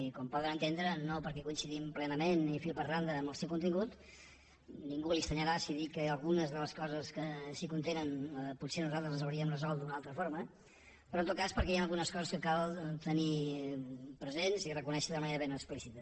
i com poden entendre no perquè coincidim plenament ni fil per randa amb el seu contingut a ningú li estranyarà si dic que algunes de les coses que s’hi contenen potser nosaltres les hauríem resolt d’una altra forma sinó en tot cas perquè hi han algunes coses que cal tenir presents i reconèixer de manera ben explícita